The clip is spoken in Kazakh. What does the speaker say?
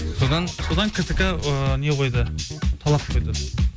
содан содан ктк ыыы не қойды талап қойды